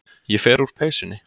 Ég fer úr peysunni.